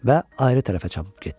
və ayrı tərəfə çapıb getdilər.